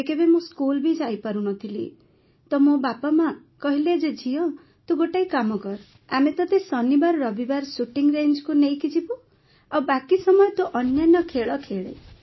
କେବେକେବେ ମୁଁ ସ୍କୁଲ୍ ବି ଯାଇପାରୁ ନଥିଲି ତ ମୋ ବାପାମା କହିଲେ ଯେ ଝିଅ ତୁ ଗୋଟାଏ କାମ କର ଆମେ ତତେ ଶନିବାରରବିବାର ଶୁଟିଂ ରେଞ୍ଜ ନେଇକି ଯିବୁ ଆଉ ବାକି ସମୟ ତୁ ଅନ୍ୟାନ୍ୟ ଖେଳ ଖେଳେ